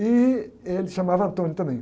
E ele chamava também.